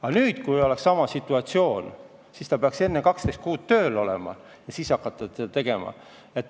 Aga kui nüüd oleks sama situatsioon, siis ta peaks enne 12 kuud tööl olema ja alles siis saaks hakata last tegema.